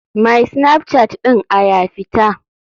My snapchat ɗin a ya fita.